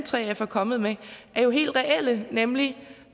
3f er kommet med er jo helt reelle nemlig